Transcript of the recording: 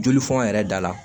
Jolifɔn yɛrɛ dala